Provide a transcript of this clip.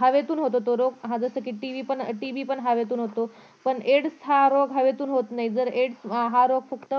हवेतून होतो जसा कि TB पण हवेतून होतो पण एड्स हा रोग हवेतून होत नाही जर एड्स हा रोग फक्त